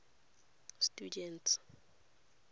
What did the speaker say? students